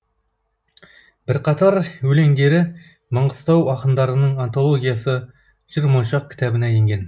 бірқатар өлеңдері маңғыстау ақындарының антологиясы жыр моншақ кітабына енген